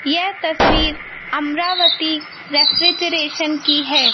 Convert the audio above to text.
यह तस्वीर अमरावती रेफ्रिजरेशन की है।